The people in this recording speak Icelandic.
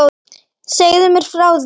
Segðu mér frá því?